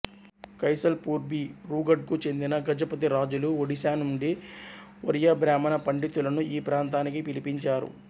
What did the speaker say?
కైసల్పూర్బీరూగఢ్ కు చెందిన గజపతి రాజులు ఒడిశా నుండి ఒరియాబ్రాహ్మణ పండితులను ఈ ప్రాంతానికి పిలిపించారు